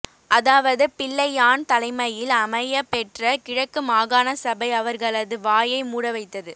அதாவது பிள்ளையான் தலைமையில் அமையப் பெற்ற கிழக்கு மாகாண சபை அவர்களது வாயை மூட வைத்தது